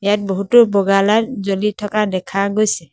ইয়াত বহুতো বগা লাইট জ্বলি থকা দেখা গৈছে।